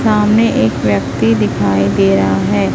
सामने एक व्यक्ति दिखाई दे रहा है।